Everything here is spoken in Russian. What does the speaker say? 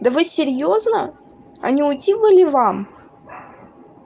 да вы серьёзно а не уйти бы ли вам